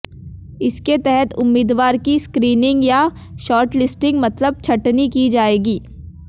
इसके तहत उम्मीदवार की स्क्रीनिंग या शॉर्टलिस्टिंग मतलब छंटनी की जाएगी